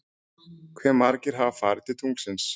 Hve margir hafa farið til tunglsins?